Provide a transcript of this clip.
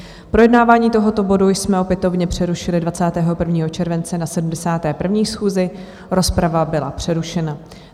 Projednávání tohoto bodu jsme opětovně přerušili 21. července na 71. schůzi, rozprava byla přerušena.